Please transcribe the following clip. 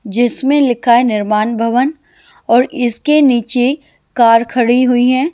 जिसमें लिखा है निर्माण भवन और इसके नीचे कार खड़ी हुई है।